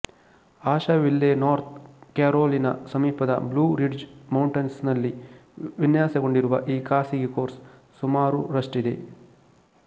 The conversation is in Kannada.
ಆಶೆವಿಲ್ಲೆ ನಾರ್ತ್ ಕ್ಯಾರೊಲಿನ ಸಮೀಪದ ಬ್ಲೂ ರಿಡ್ಜ್ ಮೌಂಟನ್ಸ್ ನಲ್ಲಿ ವಿನ್ಯಾಸಗೊಂಡಿರುವ ಈ ಖಾಸಗಿ ಕೋರ್ಸ್ ಸುಮಾರು ರಷ್ಟಿದೆ